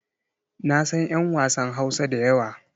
Na san 'yan wasan Hausa da yawa.